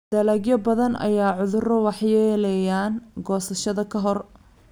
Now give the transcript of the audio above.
Dalagyo badan ayay cudurro waxyeeleeyaan goosashada ka hor.